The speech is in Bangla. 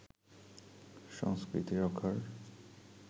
সংস্কৃতি রক্ষার